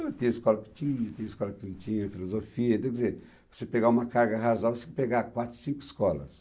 Então, tinha escola que tinha, tinha escola que não tinha, Filosofia, quer dizer, se você pegar uma carga razoável, você tem que pegar quatro, cinco escolas.